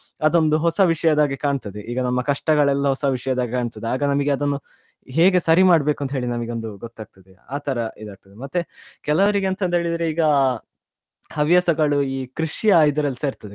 ಅದೊಂದು ಹೊಸ ವಿಷಯದ ಹಾಗೆ ಕಾಣ್ತದೆ ಈಗ ನಮ್ಮ ಕಷ್ಟಗಳೆಲ್ಲ ಹೊಸ ವಿಷ್ಯದ ಹಾಗೆ ಕಾಣ್ತದೆ ಆಗ ನಮಿಗೆ ಅದನ್ನು ಹೇಗೆ ಸರಿಮಾಡ್ಬೇಕು ಅಂತ ಹೇಳಿ ನಮಿಗೊಂದು ಗೊತ್ತಾಗ್ತದೆ ಆತರ ಇದಾಗ್ತದೇ ಮತ್ತೆ ಕೆಲವ್ರಿಗೆ ಎಂತ ಅಂತ ಹೇಳಿದ್ರೆ ಈಗ ಹವ್ಯಾಸಗಳು ಈ ಕೃಷಿಯ ಇದ್ರಲ್ಲಿಸಾ ಇರ್ತದೆ.